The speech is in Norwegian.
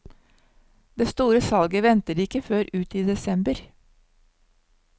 Det store salget venter de ikke før ut i desember.